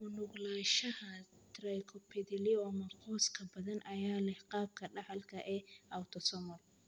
U nuglaanshaha trichoepithelioma qoys ee badan ayaa leh qaabka dhaxalka ee autosomal.